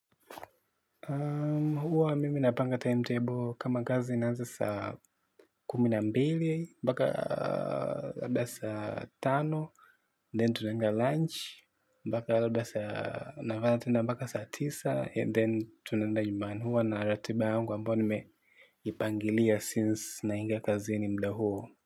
Huwa mimi napanga timetable kama kazi inaanza saa kumi na mbili, mpaka labda saa tano, then tunaenda lunch, mpaka labda saa nafanya tena mpaka saa tisa, then tunaenda nyumbani huwa na ratiba yangu ambao nimeipangilia since naingia kazini mda huo.